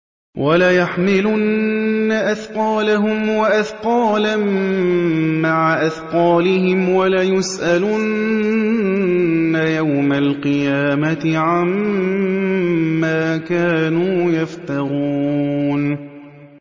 وَلَيَحْمِلُنَّ أَثْقَالَهُمْ وَأَثْقَالًا مَّعَ أَثْقَالِهِمْ ۖ وَلَيُسْأَلُنَّ يَوْمَ الْقِيَامَةِ عَمَّا كَانُوا يَفْتَرُونَ